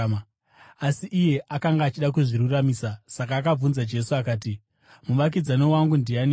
Asi iye akanga achida kuzviruramisa, saka akabvunza Jesu akati, “Muvakidzani wangu ndianiko?”